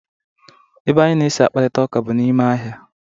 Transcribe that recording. Ebe anyị na-esi akparita ụka bụ na ime ahịa.